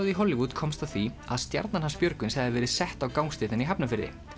í Hollywood komst að því að stjarnan hans Björgvins hefði verið sett á gangstéttina í Hafnarfirði